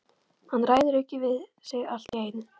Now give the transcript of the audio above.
Hann ræður ekki við sig allt í einu.